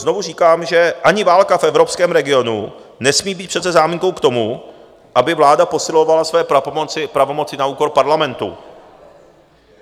Znovu říkám, že ani válka v evropském regionu nesmí být přece záminkou k tomu, aby vláda posilovala své pravomoci na úkor Parlamentu.